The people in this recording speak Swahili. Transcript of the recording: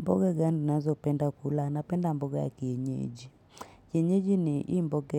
Mboga gani nazo penda kula na penda mboga ya kienyeji. Kienyeji ni ii mboga